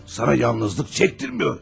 Sənə yalnızlıq çəkdirmir.